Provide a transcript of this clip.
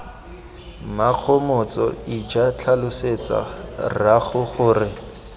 mmakgomotso ija tlhalosetsa rraago gore